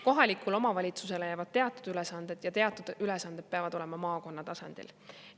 Kohalikule omavalitsusele jäävad teatud ülesanded ja teatud ülesanded peavad olema maakonna tasandil.